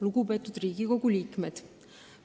Lugupeetud Riigikogu liikmed!